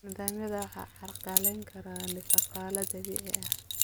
Nidaamyada waxaa carqaladeyn kara ifafaale dabiici ah.